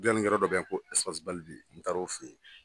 yɔrɔ dɔ bɛ ye n taara o fɛ ye.